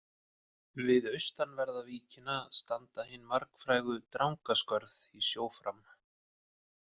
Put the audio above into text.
Við austanverða víkina standa hin margfrægu Drangaskörð í sjó fram.